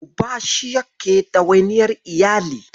Uba shi yake ɗawainiyar iyali